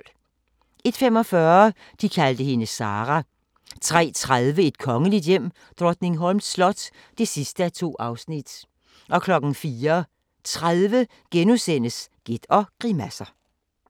01:45: De kaldte hende Sarah 03:30: Et kongeligt hjem: Drottningholms slot (2:2) 04:30: Gæt og grimasser *